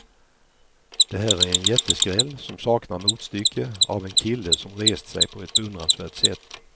Det här är en jätteskräll som saknar motstycke, av en kille som rest sig på ett beundransvärt sätt.